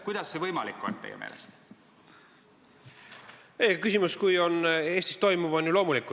Kuidas on see teie meelest võimalik?